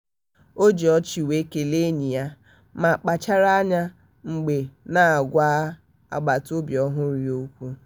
o ji ọchị wee kelee enyi ya ma kpachara anya mgbe na-agwa agbataobi ọhụrụ ya okwu.